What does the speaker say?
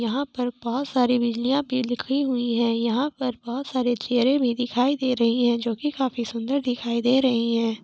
यहां पर बहोत सारे बिजलिया पेड़ दिखाई हुई है यहां पर बहोत सारे चेयरे भी दिखाय दे रही है जोकि की काफी सारे सुंदर दिखाई दे रहे है ।